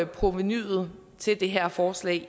provenuet til det her forslag